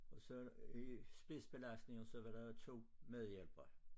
Og så i spisbelastninger så var der 2 medhjælpere